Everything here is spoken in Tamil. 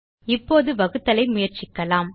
இப்போது வகுத்தலை முயற்சிக்கலாம்